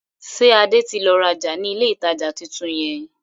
Ṣé Adé tí lọ rajá ni ilé ìtajà tuntun yẹn?